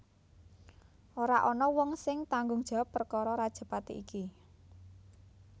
Ora ana wong sing tanggung jawab perkara rajapati iki